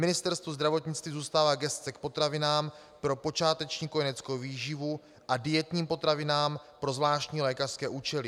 Ministerstvu zdravotnictví zůstává gesce k potravinám pro počáteční kojeneckou výživu a dietním potravinám pro zvláštní lékařské účely.